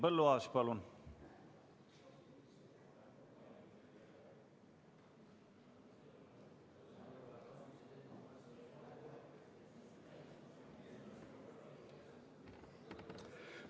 Henn Põlluaas, palun!